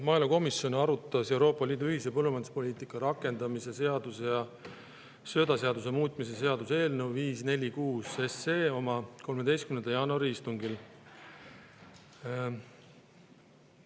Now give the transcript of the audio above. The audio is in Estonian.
Maaelukomisjon arutas Euroopa Liidu ühise põllumajanduspoliitika rakendamise seaduse ja söödaseaduse muutmise seaduse eelnõu 546 oma 13. jaanuari istungil.